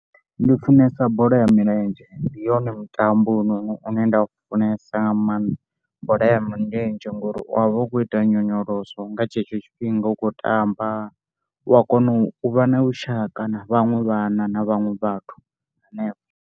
Ndi funesa bola ya milenzhe ndi yone mutambo une nda u funesa nga maanḓa. Bola ya milenzhe ngori u ya vha u kho ita nyonyoloso nga tshetsho tshifhinga u khou tamba, u a kona u vha na vhushaka na vhaṅwe vhana na vhaṅwe vhathu henefho.